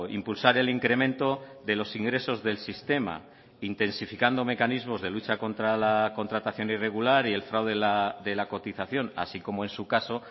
impulsar el incremento de los ingresos del sistema intensificando mecanismos de lucha contra la contratación irregular y el fraude de la cotización así como en su caso